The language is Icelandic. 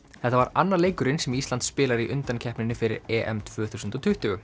þetta var annar leikurinn sem Ísland spilar í undankeppninni fyrir EM tvö þúsund og tuttugu